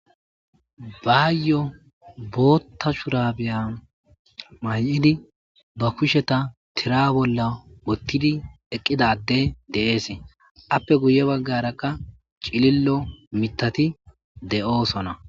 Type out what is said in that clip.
Baayo bootha shubare mayidi ba kusheta tira bolla wothidi eqidi addey de'es Apple guye bagaraka cililo mithati de'osona.